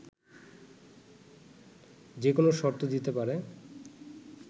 যেকোনো শর্ত দিতে পারে